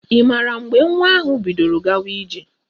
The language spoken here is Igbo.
Ị maara mgbe nwa ahụ bidoro gawa ije?